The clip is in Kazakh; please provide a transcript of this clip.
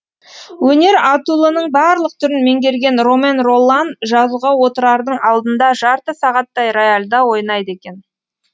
өнер атулының барлық түрін меңгерген ромен роллан жазуға отырардың алдында жарты сағаттай рояльда ойнайды екен